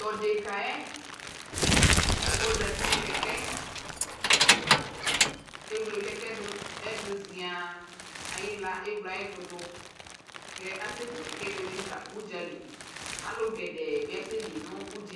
Tʋ odeka yɛ ɛ ozati nʋ kɛkɛ Kʋ ewle kɛkɛ yɛ dʋ ɛ zɩaa Ayɩɣla ewle ayʋ ɛtʋ dʋ kʋ asɛku kɛkɛ yɛ beyui fa ʋdza li Alʋ gɛdɛɛ bɩ asɛli nʋ ʋdza yɛ li